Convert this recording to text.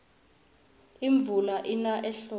imvula ina ehlobo